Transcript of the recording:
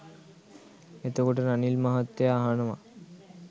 එතකොට රනිල් මහත්තයා අහනවා